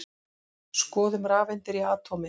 Skoðum rafeindir í atómi.